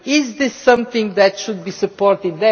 Is this something that should be supported?